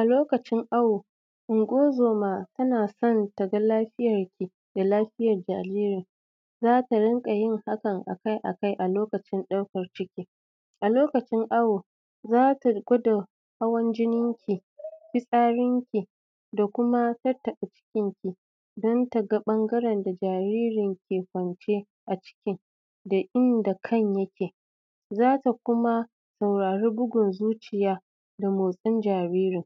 A lokacin awo, Ungo-zoma tana son taga lafiyarki da lafiyar jaririn. Za ta rinƙa yin hakan a kai a kai a lokacin ɗaukar ciki. A lokacin awo, za ta gwada hawan jininki, fitsarinki da kuma tattaɓa jikinki don ta ga ɓangaren da jaririn ke kwanciya a ciki da inda kan yake. Za ta kuma saurari bugun zuciya da motsin jaririn.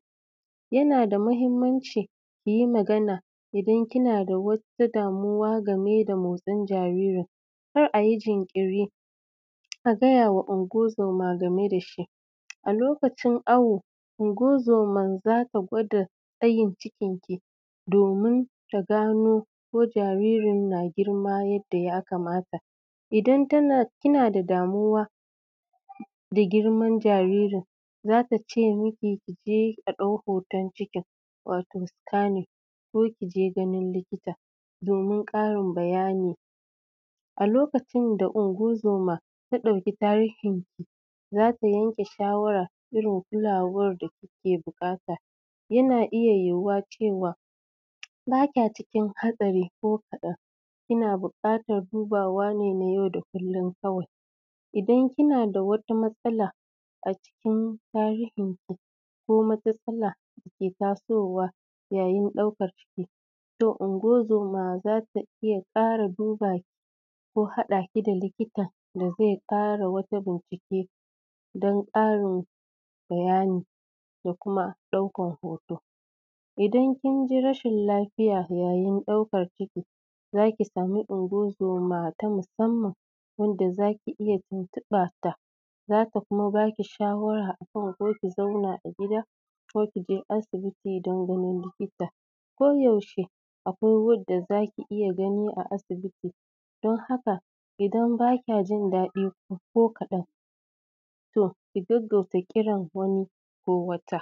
Yana da muhimmanci ki yi magana idan kina da wata damuwa game da motsin jaririn, kar a yi jinkiri, a gaya wa ungo-zoma game da shi. A lokacin awo, ungo-zoman za ta gwada tsayin cikinki domin ta gano ko jaririn na girma yadda ya kamata. Idan kina da damuwa da girman jaririn, za ta ce miki, a je a ɗauki hoton cikin, wato scanning, ko ki je ganin likita domin ƙarin bayani. A lokacin da ungo-zoma ta ɗauki tarihinki, za ta yanke shawara, irin kulawar da kike buƙata. Yana iya yiwuwa cewa, ba kya cikin hatsari ko kaɗan, kina buƙatar dubawa ne na yau da kullum kawai. Idan kina da wata matsala a cikin tarihinki, ko matsala da ke tasowa yayin ɗaukar ciki, to ungo-zoma za ta iya ƙara duba, ko haɗa ki da likita da zai ƙara wata bincike don ƙarin bayani da kuma ɗaukar hoto. Idan kin ji rashin lafiya yayin ɗaukar ciki, za ki samu ungo-zoma ta musamman wadda za ki iya tuntuɓarta, za ta kuma ba ki shawara a kan ko ki zauna a gida, ko ki je asibiti don ganin likita. Ko yaushe akwai wanda za ki iya gani a asibiti, don haka, idan ba kya jin daɗi ko kaɗan, to ki gaggauta kiran wani ko wata.